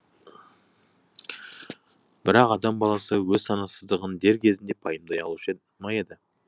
бірақ адам баласы өз санасыздығын дер кезінде пайымдай алушы ма еді